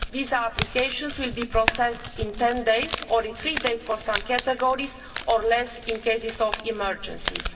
Visa applications will be processed in 10 days, or in three days for some categories, or less in cases of emergencies.